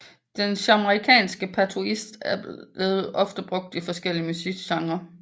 Den jamaicanske patois bliver ofte brugt i forskellige musikgenrer